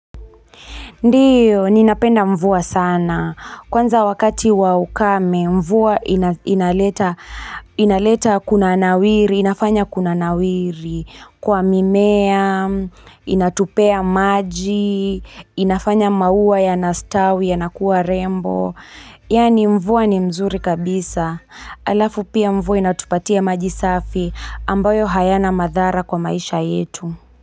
Ndiyo, ninapenda mvua sana. Kwanza wakati wa ukame, mvua inaleta inaleta kuna nawiri, inafanya kunawiri, kwa mimea, inatupea maji, inafanya maua yanastawi yanakuwa rembo. Yani mvua ni mzuri kabisa. Alafu pia mvua inatupatia maji safi ambayo hayana madhara kwa maisha yetu.